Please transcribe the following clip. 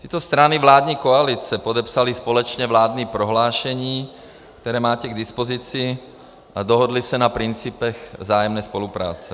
Tyto strany vládní koalice podepsaly společně vládní prohlášení, které máte k dispozici, a dohodly se na principech vzájemné spolupráce.